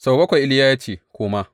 Sau bakwai Iliya ya ce, Koma.